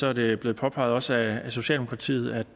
er det blevet påpeget også af socialdemokratiet at